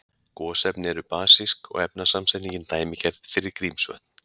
Gosefni eru basísk og efnasamsetningin dæmigerð fyrir Grímsvötn.